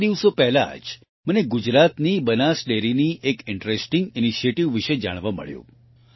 થોડા દિવસો પહેલા જ મને ગુજરાતની બનાસ ડેરીની એક ઇન્ટરેસ્ટિંગ ઇનિશિએટિવ વિશે જાણવા મળ્યું